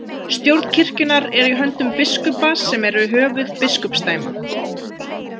Stjórn kirkjunnar er í höndum biskupa sem eru höfuð biskupsdæma.